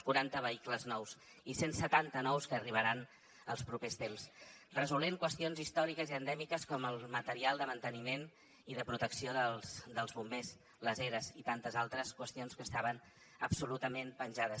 quaranta vehicles nous i cent setanta de nous que arribaran els propers temps resolent qüestions històriques i endèmiques com el material de manteniment i de protecció dels bombers els eras i tantes altres qüestions que estaven absolutament penjades